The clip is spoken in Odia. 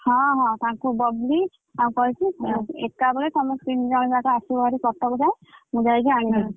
ହଁ ହଁ ତାଙ୍କୁ ବବଲୀ ତାଙ୍କୁ କହିଛି ଏକାବେଳେ ସମସ୍ତେ ତିନ ଜଣ ଯାକ ଆସିବ ଭାରି କଟକ ଯାଏ ମୁଁ ଯାଇକି ଆଣିବି।